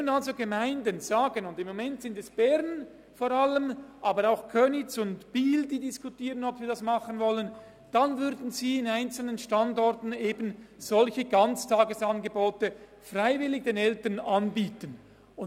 Im Moment diskutieren Bern, aber auch Köniz und Biel, ob sie dies machen wollen, also ob sie an einzelnen Standorten den Eltern eben solche freiwilligen Ganztagesangebote anbieten wollen.